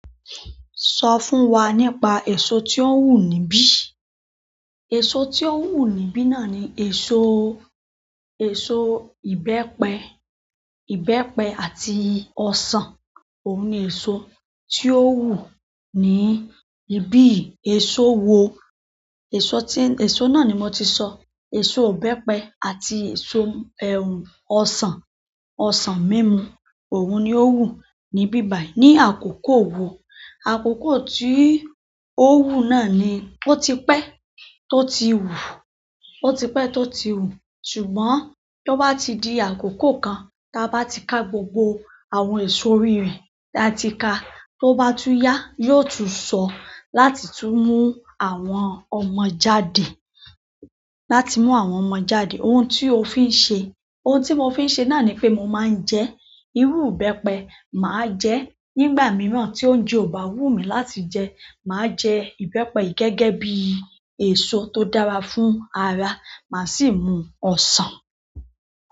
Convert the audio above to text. Sọ fún wa nípa èso tí ó wù níbí. Èso tí ó wù níbí náà ni èso, èso ìbẹ́pẹ, ìbẹ́pẹ àti ọsàn. Oun ni eso ti o wu ni ibiyi. Èso wo? Èso tí, èso náà ni mo ti sọ. Èso ìbẹ́pẹ àti èso ọsàn, ọsàn mímu. Òun ni ó wù níbí báyìí. Ni àkókò wo? Àkókò tí ó wù náà ni ó ti pẹ́ tó ti wù, ó ti pẹ́ tó ti wù. Ṣùgbọ́n tó bá ti di àkókò kan, tí a bá ti ka gbogbo àwọn èso orí re, tí a ti ka, tó bá tún yá, yóò tú ṣọ láti tú mú àwọn ọmọ jáde. Láti mú àwọn ọmọ jáde. Ohun tí o fi ń ṣe? Ohun tí mo fi ń ṣe náà ni pé mo máa ń jẹ irú ìbẹ́pẹ. Maa je, nígbà miran ti oúnjẹ o ba wunmi láti je, ma je ìbẹ́pẹ gẹ́gẹ́ bi eso to dára fún ara. Maa si mun osan.